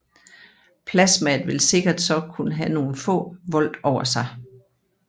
Plasmaet vil sikkert så kun have nogle få volt over sig